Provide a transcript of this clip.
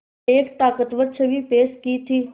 एक ताक़तवर छवि पेश की थी